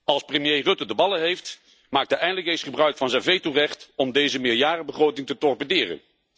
Als premier Rutte ballen heeft, maakt hij eindelijk eens gebruik van zijn vetorecht om deze meerjarenbegroting te torpederen.